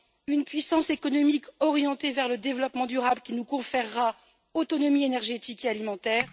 une puissance économique orientée vers le développement durable, qui nous conférera autonomie énergétique et alimentaire